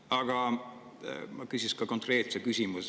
Aga ma küsin ka konkreetse küsimuse.